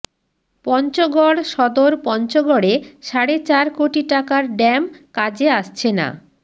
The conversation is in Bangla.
পঞ্চগড় সদর পঞ্চগড়ে সাড়ে চার কোটি টাকার ড্যাম কাজে আসছে না